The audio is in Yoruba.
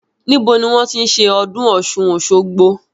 Níbo ni wọn ti ń ṣe ọdún Ọ̀sun-Osogbo?